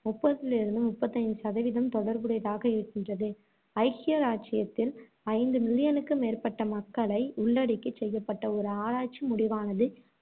முப்பதிலிருந்து முப்பத்து ஐந்து சதவீதம் தொடர்புடையதாக இருக்கின்றது. ஐக்கிய ராஜ்ஜியத்தில், ஐந்து மில்லியனுக்கு மேற்பட்ட மக்களை உள்ளடக்கிச் செய்யப்பட்ட ஒரு ஆராய்ச்சி முடிவானது,